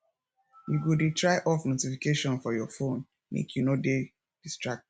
you go dey try off notification for your phone make you no dey distracted